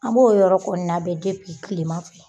An b'o yɔrɔ kɔni labɛn tilema fɛ.